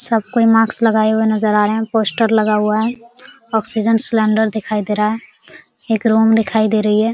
सब कोई मार्क्स लगाए हुए नजर आ रहे। पोस्टर लगा हुआ है। ऑक्सीजन सिलेंडर दिखाई दे रहा है। एक रूम दिखाई दे रही है।